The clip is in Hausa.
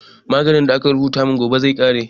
Maganin da aka rubuta min gobe zai ƙare